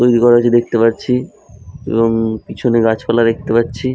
তৈরি করা আছে দেখতে পাচ্ছি এবং পিছনে গাছপালা দেখতে পাচ্ছি।